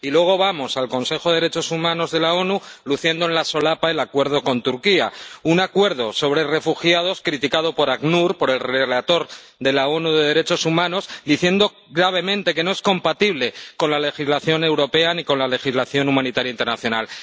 Y luego vamos al Consejo de Derechos Humanos de la ONU luciendo en la solapa el acuerdo con Turquía, un acuerdo sobre refugiados criticado por ACNUR, por el relator de la ONU de derechos humanos, que dicen gravemente que no es compatible con la legislación europea ni con la legislación humanitaria internacional.